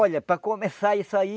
Olha, para começar isso aí...